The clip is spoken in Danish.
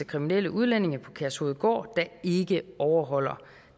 kriminelle udlændinge på kærshovedgård der ikke overholder